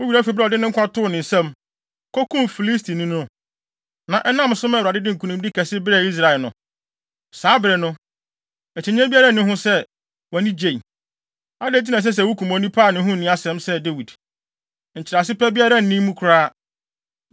Wo werɛ afi bere a ɔde ne nkwa too ne nsam, kokum Filistini no, na ɛnam so maa Awurade de nkonimdi kɛse brɛɛ Israel no? Saa bere no, akyinnye biara nni ho sɛ, wʼani gyei. Adɛn nti na ɛsɛ sɛ wukum onipa a ne ho nni asɛm sɛ Dawid? Nkyerɛase pa biara nni mu koraa.”